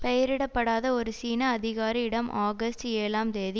பெயரிடப்படாத ஒரு சீன அதிகாரி இடம் ஆகஸ்ட் ஏழாம் தேதி